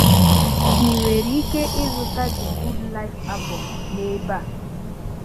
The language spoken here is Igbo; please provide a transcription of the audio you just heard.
Ị̀ nwere ike ị̀zụta The Good Life album n’ebe a.